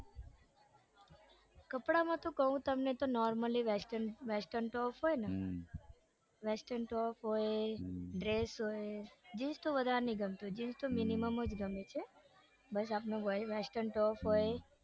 કપડામાં તો કૌ તમને normal western westurn top હોય ને western top હોય dress હોય જીન્સ તો વધારે નઈ ગમતી જીન્સ તો minimum જ ઘમે છે બસ આપણું western top હોય.